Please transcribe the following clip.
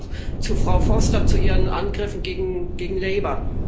Soviel auch zu Frau Foster, zu ihren Angriffen gegen Labour.